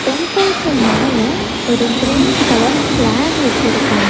டெம்பிள்க்கு மேல ஒரு green colour flag வச்சிருக்காங்க.